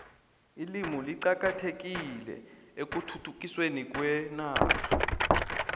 ilimi liqakathekile ekhuthuthukisweni kwenarha